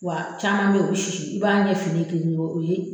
Wa caman be ye o be sisi i b'a ɲɛ fin nen ye kegegew o ye